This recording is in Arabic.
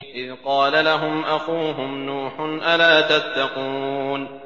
إِذْ قَالَ لَهُمْ أَخُوهُمْ نُوحٌ أَلَا تَتَّقُونَ